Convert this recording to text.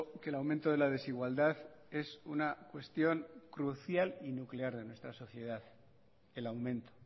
que el aumento de la desigualdad es una cuestión crucial y nuclear en nuestra sociedad el aumento